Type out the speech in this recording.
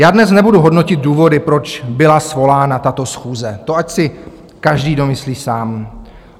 Já dnes nebudu hodnotit důvody, proč byla svolána tato schůze, to ať si každý domyslí sám.